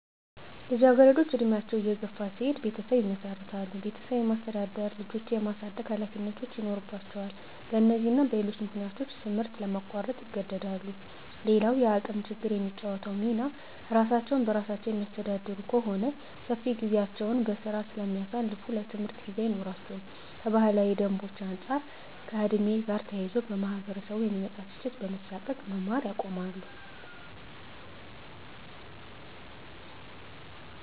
ልጃገረዶች እድሜያቸው እየገፋ ሲሄድ ቤተሰብ ይመሰርታሉ ቤተሰብ የማስተዳደር፣ ልጆች የማሳደግ ሀላፊነቶች ይኖርባቸዋል በነዚህና ሌሎች ምክንያቶች ትምህርት ለማቋረጥ ይገደዳሉ። _ሌላዉ የአቅም ችግር የሚጫወተዉ ሚና እራሳቸዉን በራሳቸዉ የሚያስተዳድሩ ከሆነ ሰፊ ጊዜያቸዉን በስራ ስለሚያሳልፋ ለትምህርት ጊዜ አይኖራቸውም _ከባህላዊ ደንቦች አንፃር ከ ዕድሜ ጋር ተያይዞ ከማህበረሰቡ የሚመጣ ትችት በመሳቀቅ መማር ያቆማሉ